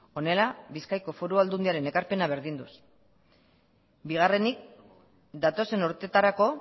honela bizkaiko foru aldundiaren ekarpena berdinduz bigarrenik datozen urtetarako